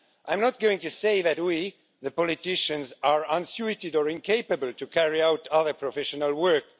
I am not going to say that we, the politicians, are unsuited or incapable to carry out other professional work.